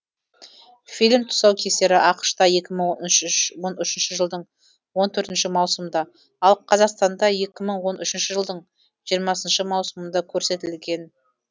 фильм тұсаукесері ақшта екі мың он үшүш он үшінші жылдың он төртінші маусымында ал қазақстанда екі мың он үшінші жылдың жиырмасыншы маусымында көрсетілді